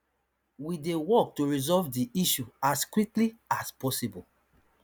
we dey work to resolve di issue as quickly as possible